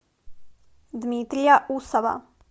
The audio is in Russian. дмитрия усова